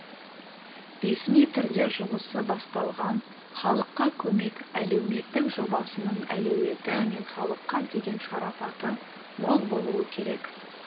ресми түрде жұмысы басталған халыққа көмек әлеуметтік жобасының әлеуеті мен халыққа деген шарапаты мол болуы керек